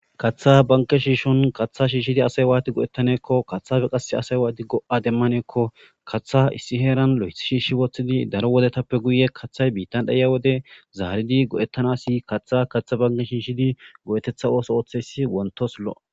Kaththa banke shiishon kaththa shiishidi asay waati go'ettaneekko kaththafe qase asay waati go;a demmaneekko katha issi heeran lo'eth shiishshi woththidi daro wodetappe guye kaththay biittan dhaya wode zaaridi godettanasi kaththa kaththa banke shiishidi go'etetha ooso ooththesi wontos lo.